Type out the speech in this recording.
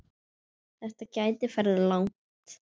Þetta gæti farið langt.